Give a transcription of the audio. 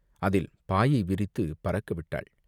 அதில் பாயை விரித்துப் பறக்க விட்டாள்!